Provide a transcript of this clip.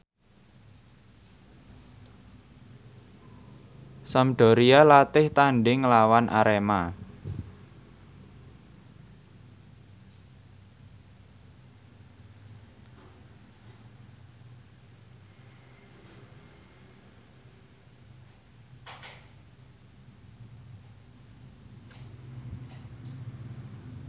Sampdoria latih tandhing nglawan Arema